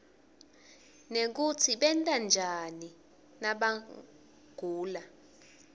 nekutsi benta njani nabagula